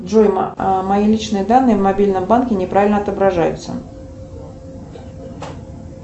джой мои личные данные в мобильном банке неправильно отображаются